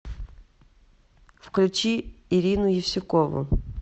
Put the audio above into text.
включи ирину евсюкову